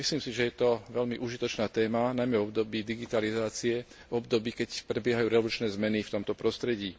Myslím si, že je to veľmi užitočná téma, najmä v období digitalizácie, v období, keď prebiehajú revolučné zmeny v tomto prostredí.